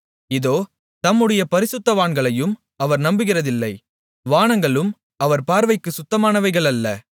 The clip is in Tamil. இதோ தம்முடைய பரிசுத்தவான்களையும் அவர் நம்புகிறதில்லை வானங்களும் அவர் பார்வைக்குச் சுத்தமானவைகள் அல்ல